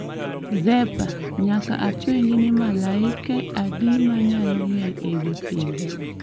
2Zepa Nyaka apenji ni malaike adi manyalo miel e wi pinje